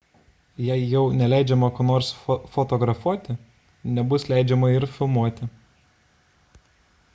jei jau neleidžiama ko nors fotografuoti nebus leidžiama ir filmuoti